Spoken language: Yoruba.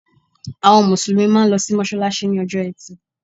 Àwọn Mùsùlùmí máa n lo sí mọ́sálásí ní ojó etì